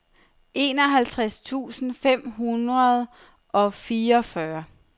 enoghalvtreds tusind fem hundrede og fireogfyrre